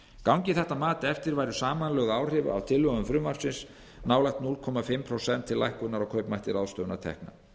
gangi þetta mat eftir væru samanlögð áhrif af tillögum frumvarpsins nálægt hálft prósent til lækkunar á kaupmætti ráðstöfunartekna